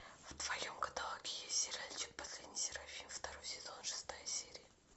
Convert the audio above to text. в твоем каталоге есть сериальчик последний серафим второй сезон шестая серия